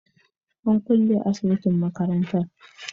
an kulle asibitin makaranta